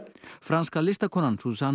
franska listakonan